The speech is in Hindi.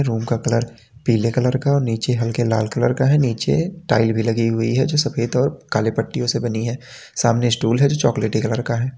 रूम का कलर पीले कलर का और नीचे हल्के लाल कलर का है नीचे टाइल भी लगी हुई है जो सफेद और काले पट्टियों से बनी है सामने स्टूल है जो चॉकलेटी कलर का है।